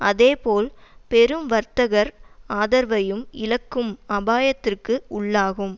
அதேபோல் பெரும் வர்த்தகர் ஆதரவையும் இழக்கும் அபாயத்திற்கு உள்ளாகும்